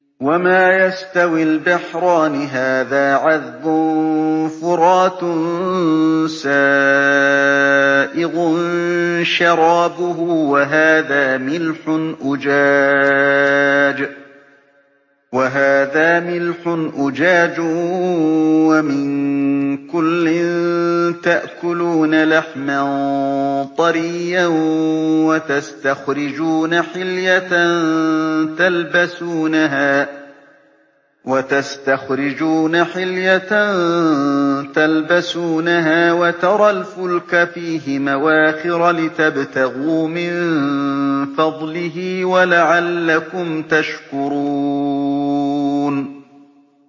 وَمَا يَسْتَوِي الْبَحْرَانِ هَٰذَا عَذْبٌ فُرَاتٌ سَائِغٌ شَرَابُهُ وَهَٰذَا مِلْحٌ أُجَاجٌ ۖ وَمِن كُلٍّ تَأْكُلُونَ لَحْمًا طَرِيًّا وَتَسْتَخْرِجُونَ حِلْيَةً تَلْبَسُونَهَا ۖ وَتَرَى الْفُلْكَ فِيهِ مَوَاخِرَ لِتَبْتَغُوا مِن فَضْلِهِ وَلَعَلَّكُمْ تَشْكُرُونَ